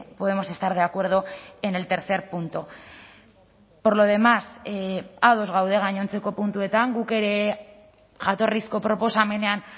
podemos estar de acuerdo en el tercer punto por lo demás ados gaude gainontzeko puntuetan guk ere jatorrizko proposamenean